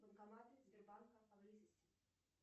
банкоматы сбербанка поблизости